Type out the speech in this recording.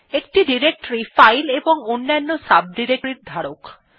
একটি directory file এবং অন্যান্য directories এর ধারক